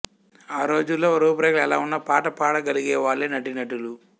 ఆ రోజుల్లో రూపురేఖలు ఎలా వున్నా పాట పాడగలిగే వాళ్లే నటీనటులు